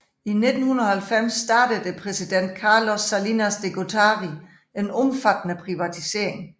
I 1990 startede præsidenten Carlos Salinas de Gortari en omfattende privatisering